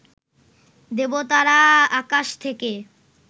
দেবতারা আকাশ থেকে